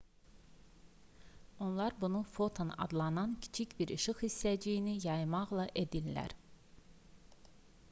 onlar bunu foton adlanan kiçik bir işıq hissəciyini yaymaqla edirlər